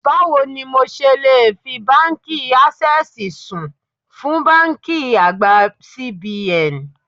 Báwo ni mo ṣe le fi Báńkì Ásẹ́sìì sùn fún báńkì àgbà CBN?